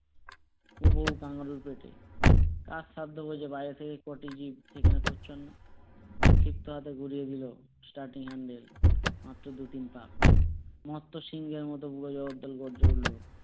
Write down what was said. উদরে তার মানে পেটে তার সাধ্য বাইরে থেকে শিখতে হয়েতো বুঝায়ে বুঝায়ে মাত্র দুতিন